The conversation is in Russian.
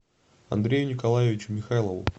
андрею николаевичу михайлову